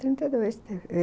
Trinta e dois